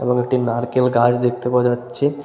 এবং একটি নারকেল গাছ দেখতে পাওয়া যাচ্ছে।